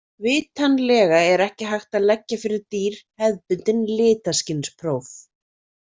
Vitanlega er ekki hægt að leggja fyrir dýr hefðbundin litaskynspróf.